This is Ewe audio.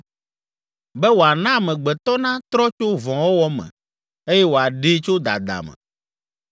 be wòana amegbetɔ natrɔ tso vɔ̃wɔwɔ me eye wòaɖee tso dada me,